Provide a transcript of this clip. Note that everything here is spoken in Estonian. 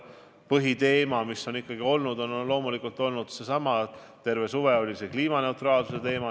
Põhiteema, mis on arutusel olnud, on loomulikult seesama: terve suve oli laual kliimaneutraalsuse teema.